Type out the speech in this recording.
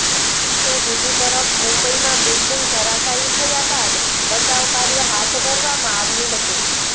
તો બીજી તરફ મુંબઇમાં બિલ્ડિંગ ધરાશયી થયા બાદ બચાવકાર્ય હાથ ધરવામાં આવ્યું હતું